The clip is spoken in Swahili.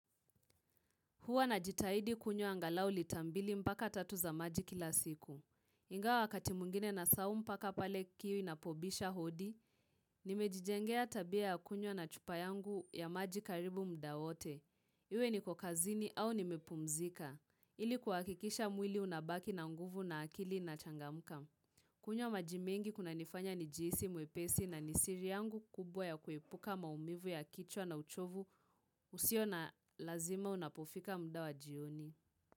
Huwa na jitahidi kunywa angalau litambili mpaka tatu za maji kila siku. Ingawa wakati mwingine nasahau mpaka pale kiu ina pobisha hodi, nimejijengea tabia ya kunywa na chupa yangu ya maji karibu mda wote. Iwe ni kokazini au ni mepumzika. Ili kuhakikisha mwili unabaki na nguvu na akili na changamuka. Kunywa majimengi kuna nifanya nijihisi mwepesi na nisiri yangu kubwa ya kuepuka maumivu ya kichwa na uchovu usio na lazima unapofika mda wa jioni.